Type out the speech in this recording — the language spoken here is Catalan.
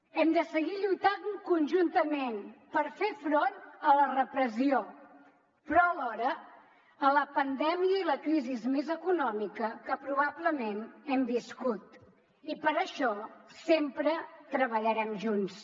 hem de seguir lluitant conjuntament per fer front a la repressió però alhora a la pandèmia i la crisi més econòmica que probablement hem viscut i per això sempre treballarem junts